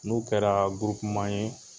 N'o kɛra gurupu man ye